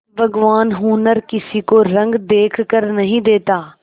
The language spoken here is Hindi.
भगवान हुनर किसी को रंग देखकर नहीं देता